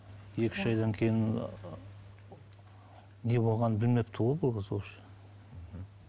екі үш айдан кейін не болғанын білмепті ғой бұл қыз вообще